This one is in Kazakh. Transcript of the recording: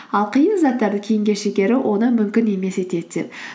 ал қиын заттарды кейінге шегеру оны мүмкін емес етеді деп